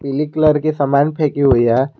पीली कलर की सामान फेंकी हुई है।